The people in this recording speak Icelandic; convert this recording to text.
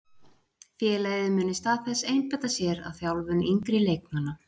Félagið mun í stað þess einbeita sér að þjálfun yngri leikmanna.